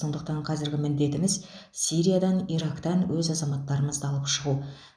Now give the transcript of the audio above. сондықтан қазіргі міндетіміз сириядан ирактан өз азаматтарымызды алып шығу